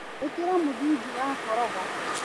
Ĩkĩra mũthingi wa koroga.